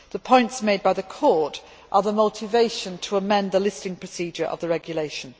The points made by the Court are the motivation to amend the listing procedures of the regulation.